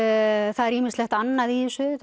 það er ýmislegt annað í þessu